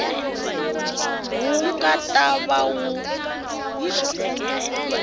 wu nga ta va wu